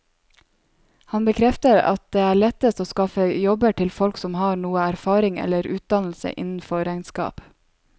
Han bekrefter at det er lettest å skaffe jobber til folk som har noe erfaring eller utdannelse innenfor regnskap.